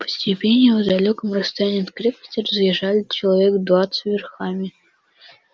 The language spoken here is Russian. по степи не в далёком расстоянии от крепости разъезжали человек двадцать верхами